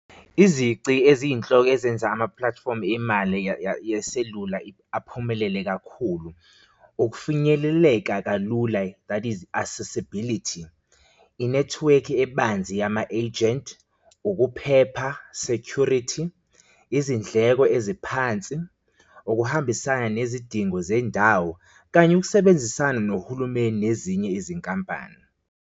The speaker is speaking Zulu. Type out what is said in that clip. Izici eziyinhloko ezenza ama platform imali yeselula aphumelele kakhulu ukufinyeleleka kalula, that is accessibility, inethiwekhi ebanzi yama-ejenti, ukuphepha, security, izindleko eziphansi, ukuhambisana nezidingo zendawo, kanye ukusebenzisana nohulumeni nezinye izinkampani.